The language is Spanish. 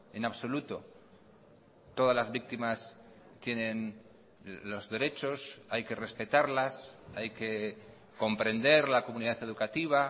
en absoluto todas las víctimas tienen los derechos hay que respetarlas hay que comprender la comunidad educativa